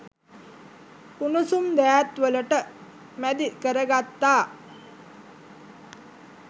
උණුසුම් දෑත් වලට මැදි කරගත්තා.